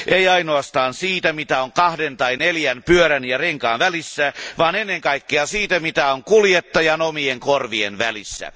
Ei ainoastaan siitä, mitä on kahden tai neljän pyörän ja renkaan välissä, vaan ennen kaikkea siitä, mitä on kuljettajan omien korvien välissä.